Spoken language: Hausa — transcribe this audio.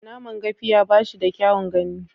Naman Gafiya ba shi da kyaun gani.